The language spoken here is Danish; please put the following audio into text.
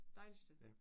Dejligt sted